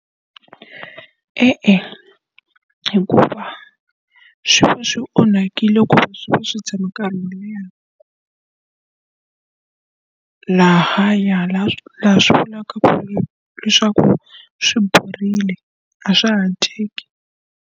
E-e, hikuva swi va swi onhakile va swi va swi tshama nkarhi wo leha lahaya laha swi vulaka leswaku swi borile a swa ha dyeki.